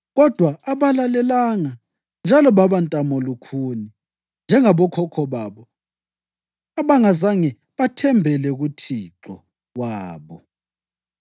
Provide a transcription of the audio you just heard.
Kodwa abalalelanga njalo baba ntamolukhuni njengabokhokho babo, bona abangazange bathembele kuThixo wabo.